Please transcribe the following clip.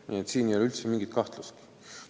Nii et siin ei ole üldse mingit kahtlust.